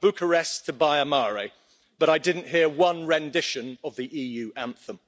Bucharest to Baia Mare, but I didn't hear one rendition of the EU anthem.